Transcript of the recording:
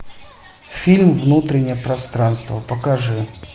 фильм внутреннее пространство покажи